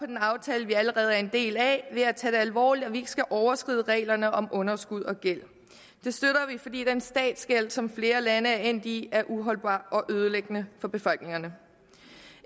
den aftale vi allerede er en del af ved at tage det alvorligt at vi ikke skal overskride reglerne om underskud og gæld det støtter vi fordi den statsgæld som flere lande er endt i er uholdbar og ødelæggende for befolkningerne